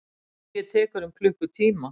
Flugið tekur um klukkutíma.